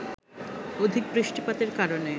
অধিক বৃষ্টিপাতের কারণে